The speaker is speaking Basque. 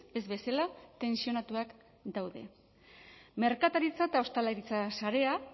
ez bezala tentsionatuak daude merkataritza eta ostalaritza sarea